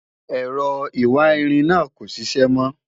èrò ìwà ìrìn nà kò ṣiṣẹ mo